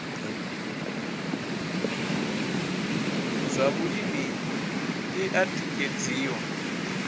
zwa vhulimi i o tikedziwa